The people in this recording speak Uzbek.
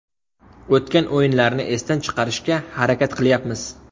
O‘tgan o‘yinlarni esdan chiqarishga harakat qilyapmiz.